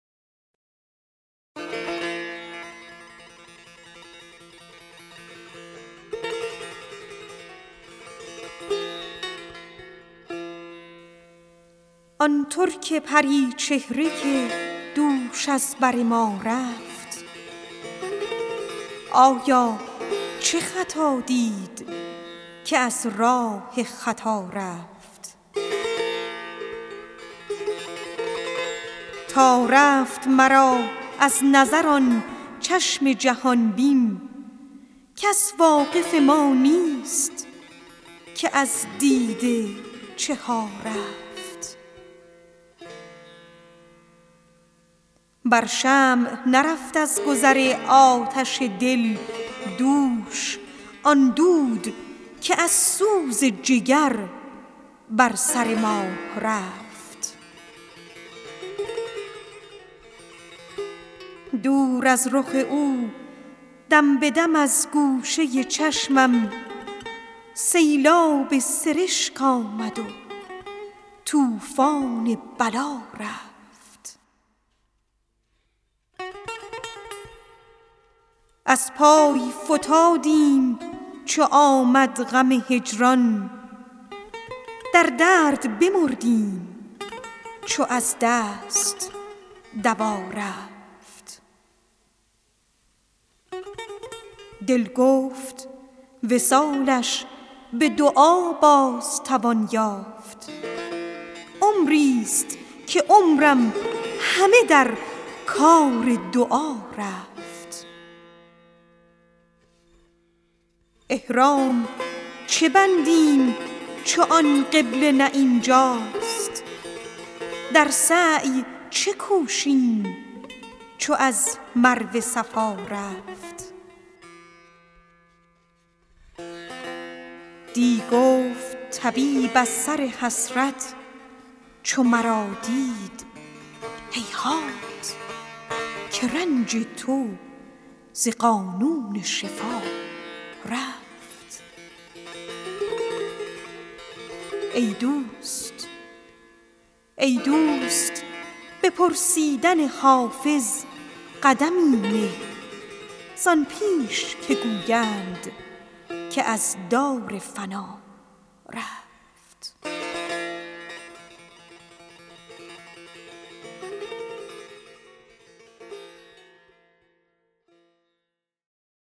آن ترک پری چهره که دوش از بر ما رفت آیا چه خطا دید که از راه خطا رفت تا رفت مرا از نظر آن چشم جهان بین کس واقف ما نیست که از دیده چه ها رفت بر شمع نرفت از گذر آتش دل دوش آن دود که از سوز جگر بر سر ما رفت دور از رخ تو دم به دم از گوشه چشمم سیلاب سرشک آمد و طوفان بلا رفت از پای فتادیم چو آمد غم هجران در درد بمردیم چو از دست دوا رفت دل گفت وصالش به دعا باز توان یافت عمریست که عمرم همه در کار دعا رفت احرام چه بندیم چو آن قبله نه این جاست در سعی چه کوشیم چو از مروه صفا رفت دی گفت طبیب از سر حسرت چو مرا دید هیهات که رنج تو ز قانون شفا رفت ای دوست به پرسیدن حافظ قدمی نه زان پیش که گویند که از دار فنا رفت